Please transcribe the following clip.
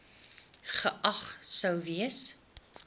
geag sou gewees